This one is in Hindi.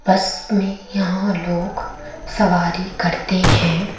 बस में यहां लोग सवारी करते है।